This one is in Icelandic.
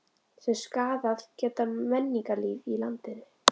sem skaðað geta menningarlíf í landinu.